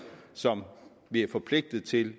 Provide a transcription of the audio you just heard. som vi er forpligtet til